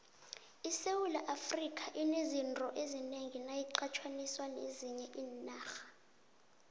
isewula afrika inezinto ezinengi nayiqathaniswa nezinye iinarha